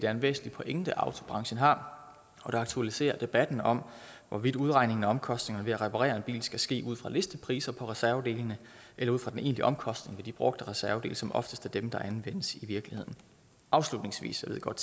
er en væsentlig pointe autobranchen har og det aktualiserer debatten om hvorvidt udregningen af omkostningerne ved at reparere en bil skal ske ud fra listepriser på reservedelene eller ud fra den egentlige omkostning ved de brugte reservedele som oftest er dem der anvendes i virkeligheden afslutningsvis jeg ved godt